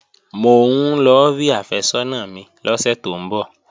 Mò ń lọ rí àfẹ́sọ́nà mi lọ́sẹ̀ tó ń bọ̀